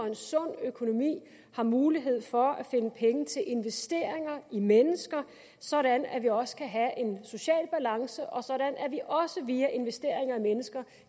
en sund økonomi har mulighed for at finde penge til investeringer i mennesker sådan at vi også kan have en social balance og sådan at vi også via investeringer i mennesker